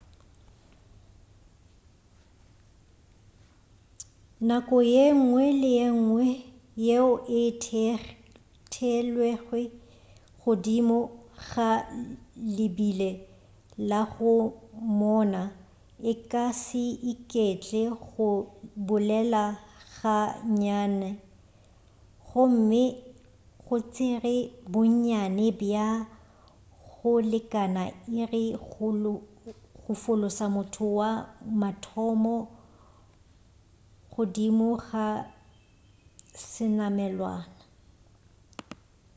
nako yengwe le yengwe yeo e theelwego godimo ga lebile la go moona e ka se iketle go bolela ga nnyane gomme go tšere bonnyane bja go lekana iri go fološa motho wa mathomo godimo ga senamelwa